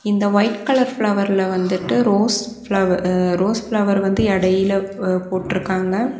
இந்த white colour ஃப்ளவர்ல வந்துட்டு ரோஸ் ஃப்ளவர் ரோஸ் ஃப்ளவர் வந்து எடையில போட்ருக்காங்க.